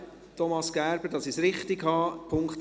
Thomas Gerber, damit ich es richtig habe: